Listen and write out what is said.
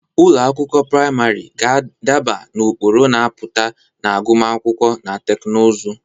Ụlọ akwụkwọ praịmarị ga-adaba n'ụkpụrụ na-apụta na agụmakwụkwọ na teknụzụ.